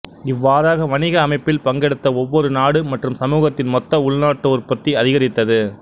இவ்வாறாக வணிக அமைப்பில் பங்கெடுத்த ஒவ்வொரு நாடு மற்றும் சமூகத்தின் மொத்த உள்நாட்டு உற்பத்தி அதிகரித்தது